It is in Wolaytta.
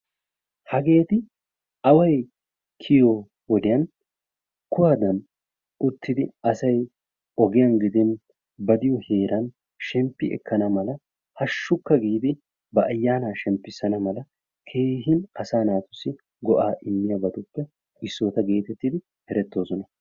Hageeti away kiyoo wodiyaan kuwadan uttidi asay ogiyaan gidin ba biyoo heeran sheemppi ekkana mala haashshukka giidi ba ayaana shemppisana mala keehin asaa naatussi go"aa immiyabatuppe issota getettidi erettoosona.